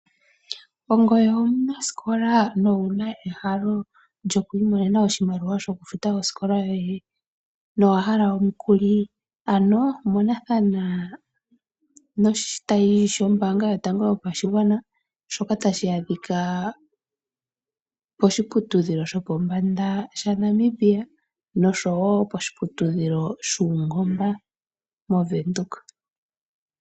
Ongweye omunaskola nowuna ehalo lyokwiimonena oshimaliwa shoku futa oskola yoye? Nowa hala omukuli? Ano monathana noshitayi shombaanga yotango yopashigwana shoka tashi adhika poshiputudhilo shopombanda shaNamibia noshowo poshiputudhilo shuungomba movenduka.